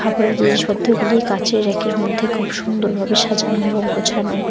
আপরে জিনিসপত্রগুলি কাচের র্যাকের মধ্যে খুব সুন্দর ভাবে সাজানো এবং গোছানো।